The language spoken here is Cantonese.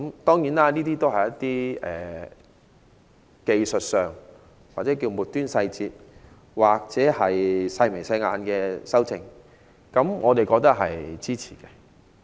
當然，這都是一些技術上或稱為"末端細節"或"細眉細眼"的修訂，我都表示支持。